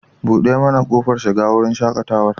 Buɗe mana kofar shiga wurin shaƙatawar.